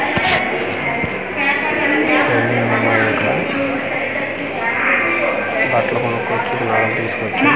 బట్లు కొనుక్కుంటుంది ఆవిడ్ని తీసుకొచ్చి.